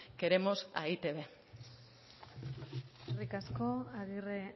queremos a e i te be eskerrik asko agirre